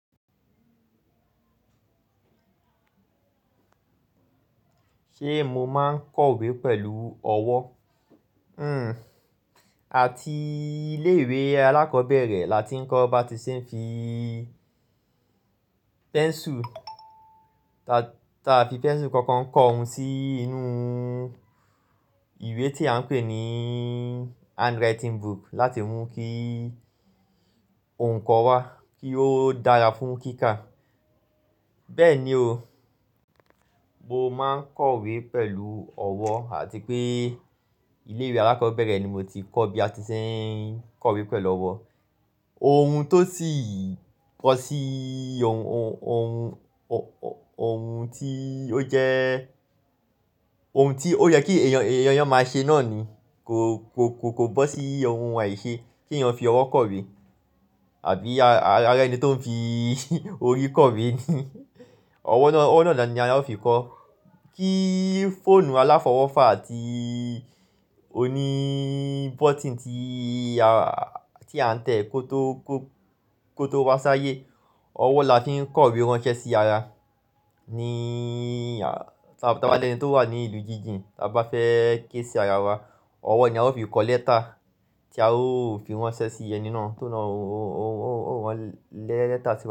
Ṣé mo máa ń kọ ìwé pẹ̀lú ọwọ́? Hmm, àti ilé ìwé alákọ̀ọ́bẹ̀rẹ̀ là ti ń kọ ọ ba ti ṣe ń fi pẹ́nsù. Ta, ta fi pẹ́nsù kankan kọ ohun sí inú ìwé tí a ń pè ní handwriting book láti mú kí ohùn ikọ wá, kí ó dára fún kíkà. Bẹ́ẹ̀ ni o, mo máa ń kọ ìwé pẹ̀lú ọwọ́ àti pé ilé ìwé alákọ̀ọ́bẹ̀rẹ̀ ni mo ti kọ́ bí a ti ṣe ń kọ ìwé pẹ̀lú ọwọ́. Ohun tó sì kọ sí ohun, ohun, ohun, ohùn tí ó jẹ́ ohun tí ó yẹ kí èèyàn, èèyàn máa ṣe náà ni kò, kò, kò, kò bọ́ sí ohun àìṣe ki èèyàn fi ọwọ́ kọ ìwé àbí ará ẹni tó ń fi orí kọ ìwé ni. Ọwọ́ náà, ọwọ́ náà ni a ó fi kọ. Kí fóònù aláfọwọ́fà àti oní button tí a, tí a n tẹ̀ kó tó, kó tó wá sáyé, ọwọ́ la ti ń kọ ìwé ránṣẹ́ sí ara. Ní a a, tí a bá lẹ́ni tó wà ní ìlú jíjìn, tí a bá fẹ́ ké sí ara wa, ọwọ́ ni a ó fi kọ lẹ́tà tí a ó fi ránṣẹ́ sí ẹni náà tó náà ó, ó, ó, ó, ó rán lẹ́tà sí wa.